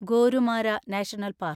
Gorumara national park